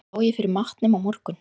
Á ég fyrir matnum á morgun?